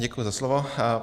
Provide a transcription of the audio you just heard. Děkuji za slovo.